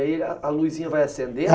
E aí a a luzinha vai acendendo?